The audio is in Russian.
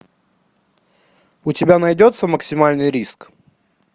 у тебя найдется максимальный риск